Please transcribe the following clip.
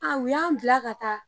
An u y'an bila ka taa